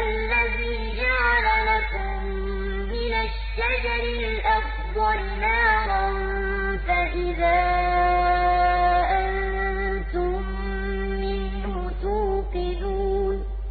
الَّذِي جَعَلَ لَكُم مِّنَ الشَّجَرِ الْأَخْضَرِ نَارًا فَإِذَا أَنتُم مِّنْهُ تُوقِدُونَ